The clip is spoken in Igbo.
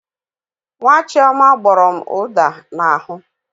Nwa Chioma gbọrọ m ụda n'ahụ.